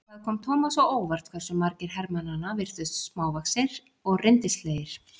Það kom Thomas á óvart hversu margir hermannanna virtust smávaxnir og rindilslegir.